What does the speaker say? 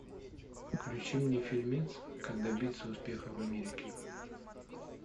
включи мне фильмец как добиться успеха в америке